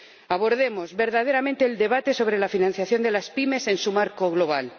Abordemos verdaderamente el debate sobre la financiación de las pymes en su marco global